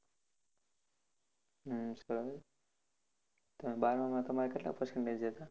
તમે બારમા તમારે કેટલા percentage